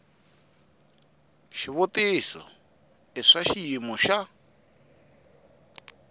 xivutiso i swa xiyimo xa